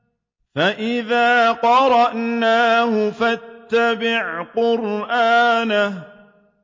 فَإِذَا قَرَأْنَاهُ فَاتَّبِعْ قُرْآنَهُ